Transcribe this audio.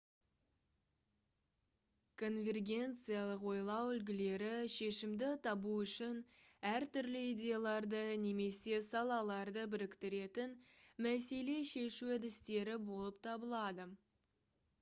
конвергенциялық ойлау үлгілері шешімді табу үшін әртүрлі идеяларды немесе салаларды біріктіретін мәселе шешу әдістері болып табылады